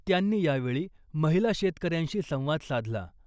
त्यांनी यावेळी महिला शेतकऱ्यांशी संवाद साधला .